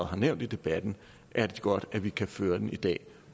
har nævnt i debatten er det godt at vi kan føre den i dag